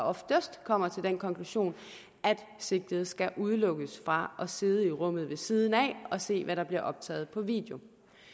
oftest kommer til den konklusion at sigtede skal udelukkes fra at sidde i rummet ved siden af og se hvad der bliver optaget på video